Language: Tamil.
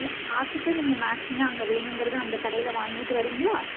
பார்த்துட்டு நீங்க matching ஆ அங்க வேணுங்கிறது அந்த கடையில வாங்கிட்டு வர்றீங்களா